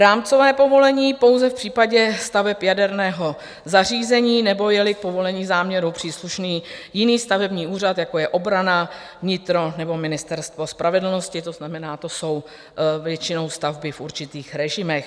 Rámcové povolení pouze v případě staveb jaderného zařízení nebo je-li povolení záměru příslušný jiný stavební úřad, jako je obrana, vnitro nebo Ministerstvo spravedlnosti, to znamená, to jsou většinou stavby v určitých režimech.